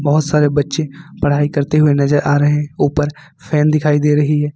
बहुत सारे बच्चे पढ़ाई करते हुए नजर आ रहे हैं ऊपर फैन दिखाई दे रही है ।